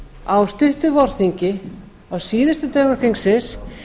á stuttu vorþingi á síðustu dögum þingsins